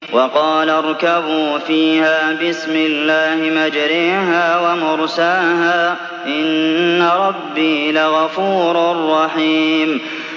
۞ وَقَالَ ارْكَبُوا فِيهَا بِسْمِ اللَّهِ مَجْرَاهَا وَمُرْسَاهَا ۚ إِنَّ رَبِّي لَغَفُورٌ رَّحِيمٌ